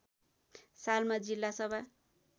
सालमा जिल्ला सभा